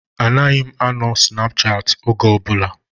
Anaghị m anọ na Snapchaati oge ọbụla